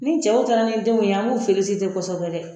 Ni cɛw taara ni denw ye an b'u kosɛbɛ dɛ